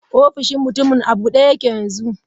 Ofishin mutumin a bude yake yanzu.